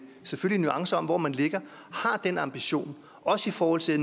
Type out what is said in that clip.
nuancer i hvor man ligger har den ambition også i forhold til